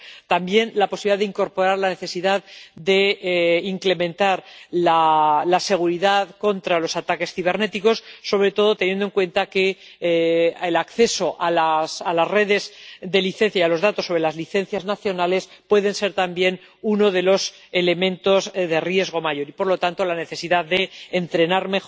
También por la posibilidad de incorporar la necesidad de incrementar la seguridad contra los ataques cibernéticos, sobre todo teniendo en cuenta que el acceso a las redes de licencia y a los datos sobre las licencias nacionales puede ser también uno de los elementos de riesgo mayor y, por lo tanto, hay una necesidad de entrenar